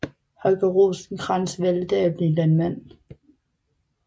Holger Rosenkrantz valgte da at blive landmand